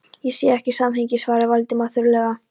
Ég sé ekki samhengið- svaraði Valdimar þurrlega.